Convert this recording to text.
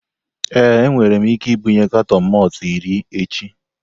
Ee, enwere m ike ibunye katọn malt iri echi.